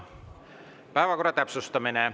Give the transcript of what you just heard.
Päevakorra täpsustamine.